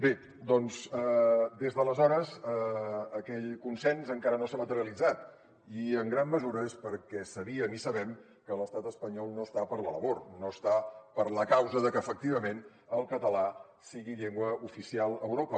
bé doncs des d’aleshores aquell consens encara no s’ha materialitzat i en gran mesura és perquè sabíem i sabem que l’estat espanyol no està per la labor no està per la causa de que efectivament el català sigui llengua oficial a europa